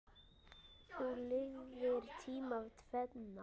Þú lifðir tímana tvenna.